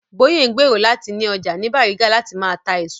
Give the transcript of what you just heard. Bóyè ń gbèrò láti ni ọjà ní Bàrígà láti máa ta èso